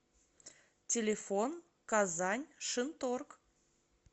телефон казань шинторг